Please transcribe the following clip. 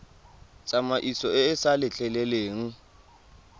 tsamaiso e e sa letleleleng